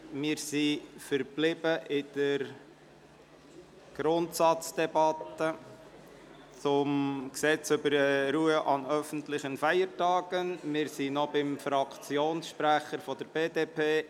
Wir befinden uns in der Grundsatzdebatte zum Gesetz über die Ruhe an öffentlichen Feiertagen und kommen zum Fraktionssprecher der BDP.